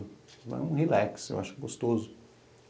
Foi um relax, eu acho gostoso.